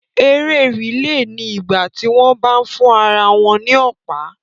Eré rìlè ni ìgbà tí wọ́n bá ń fún ara wọn ní Ọ̀pá